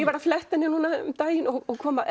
var að fletta henni um daginn og kom að